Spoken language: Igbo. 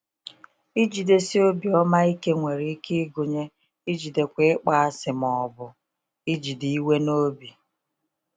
Ijidesi obiọma ike nwere ike ịgụnye ijidekwa ịkpọasị ma ọ bụ ijide iwe n’obi.